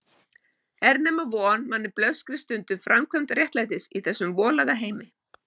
Er nema von manni blöskri stundum framkvæmd réttlætis í þessum volaða heimi?